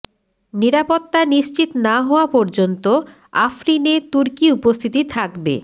নিরাপত্তা নিশ্চিত না হওয়া পর্যন্ত আফরিনে তুর্কি উপস্থিতি থাকবে